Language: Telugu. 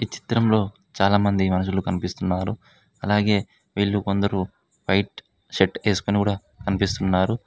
చిత్రంలో చాలామంది మనుషులు కనిపిస్తున్నారు అలగే వీళ్ళు కొందరు వైట్ షర్ట్ వేసుకొని కూడా కనిపిస్తున్నారు.